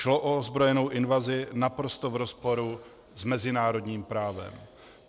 Šlo o ozbrojenou invazi naprosto v rozporu s mezinárodním právem.